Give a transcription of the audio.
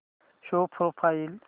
show profile